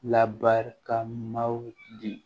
Labarikamaw di